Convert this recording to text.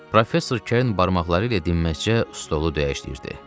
Professor Kern barmaqları ilə dinməzcə stolu döyüşləyirdi.